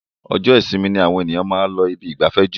Ọjọ́ isinmi ni àwọn èyàn ń lọ ibi ìgbafẹ́ jù.